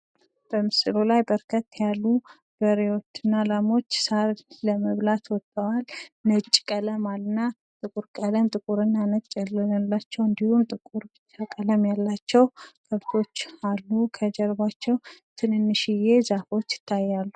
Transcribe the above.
በምስሉ ላይ በርከት ያሉ በሬዎች እና ላሞች ሳር ለመብላት ወጥተዋል። ነጭና ጥቁር ቀለም ያላቸው እንድሁም ጥቁር ብቻ ቀለም ያላቸው አሉ። እንድሁም ከጀርባቸው ዛፎች ይታያሉ።